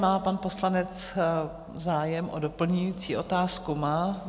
Má pan poslanec zájem o doplňující otázku?